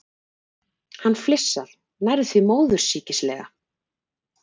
Hann flissar, nærri því móðursýkislega.